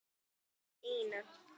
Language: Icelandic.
vældi Ína.